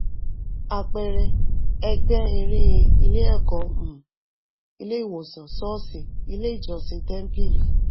àpẹẹrẹ ẹgbẹ́ eré ilé ẹ̀kọ́ um ilé ìwòsàn sọ́ọ̀ṣì ilé ìjọsìn tẹ́ńpìlì.